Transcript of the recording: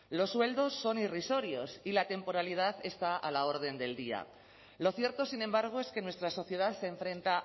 los sueldos son irrisorios y la temporalidad está a la orden del día lo cierto sin embargo es que nuestra sociedad se enfrenta